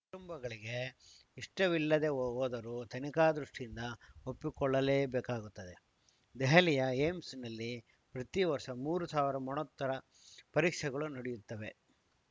ಕುಟುಂಬಗಳಿಗೆ ಇಷ್ಟವಿಲ್ಲದೇ ಹೋದರೂ ತನಿಖಾ ದೃಷ್ಟಿಯಿಂದ ಒಪ್ಪಿಕೊಳ್ಳಲೇಬೇಕಾಗುತ್ತದೆ ದೆಹಲಿಯ ಏಮ್ಸ್‌ನಲ್ಲಿ ಪ್ರತಿ ವರ್ಷ ಮೂರು ಸಾವಿರ ಮರಣೋತ್ತರ ಪರೀಕ್ಷೆಗಳು ನಡೆಯುತ್ತವೆ